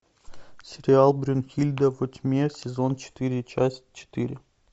сериал брунгильда во тьме сезон четыре часть четыре